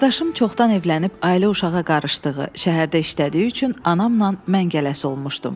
Qardaşım çoxdan evlənib ailə uşağa qarışdığı, şəhərdə işlədiyi üçün anamla mən gələsi olmuşdum.